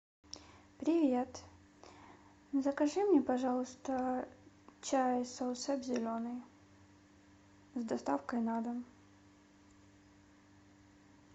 привет закажи мне пожалуйста чай саусеп зеленый с доставкой на дом